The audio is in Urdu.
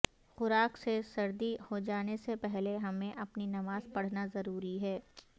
خوراک سے سردی ہو جانے سے پہلے ہمیں اپنی نماز پڑھنا ضروری ہے